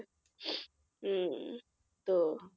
উম তো